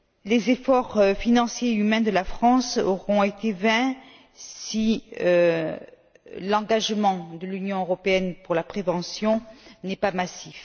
Les efforts financiers et humains de la France auront été vains si l'engagement de l'Union européenne pour la prévention n'est pas massif.